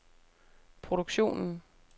produktionen